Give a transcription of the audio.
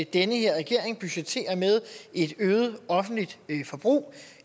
den her regering budgetterer med et øget offentligt forbrug